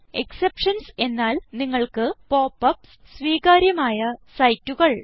exceptions എന്നാൽ നിങ്ങൾക്ക് pop UPS സ്വീകാര്യമായ സൈറ്റുകൾ